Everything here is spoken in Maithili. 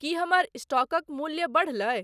की हमर स्टॉकक मूल्य बढ़लै